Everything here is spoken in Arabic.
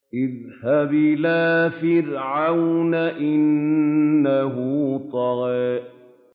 اذْهَبْ إِلَىٰ فِرْعَوْنَ إِنَّهُ طَغَىٰ